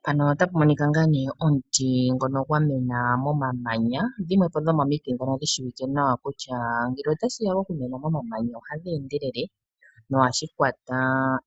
Mpano ota pa monika ngaa ne, omuti ngoka gwa mena momamanya. Odhimwepo dhomo mitigate ndhoka shishiwike nawa kutya ngele ota shi ya moku mena monamanya, oha dhi endelele. No Ha shi kwata